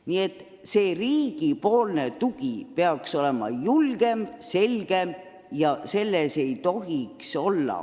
Nii et riigi tugi peaks olema tugevam ja selgem.